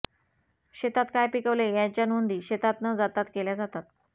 शेतात काय पिकवले याच्या नोंदी शेतात न जातात केल्या जातात